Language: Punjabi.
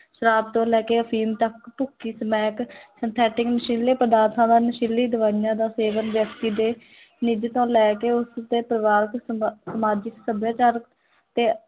ਸ਼ਰਾਬ ਤੋਂ ਲੈ ਕੇ ਅਫ਼ੀਮ ਤੱਕ ਭੁੱਕੀ, ਸਮੈਕ synthetic ਨਸ਼ੀਲੇ ਪਦਾਰਥਾਂ ਦਾ ਨਸ਼ੀਲੀ ਦਵਾਈਆਂ ਦਾ ਸੇਵਨ ਵਿਅਕਤੀ ਦੇ ਤੋਂ ਲੈ ਕੇ ਉਸਦੇ ਪਰਿਵਾਰਕ ਸਮਾ ਸਮਾਜਿਕ ਸੱਭਿਆਚਾਰਕ ਤੇ